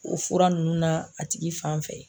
O fura ninnu na a tigi fanfɛ.